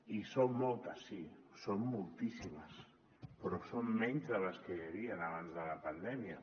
i són moltes sí són moltíssimes però són menys de les que hi havien abans de la pandèmia